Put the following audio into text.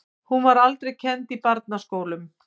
Hún var aldrei kennd í barnaskólunum.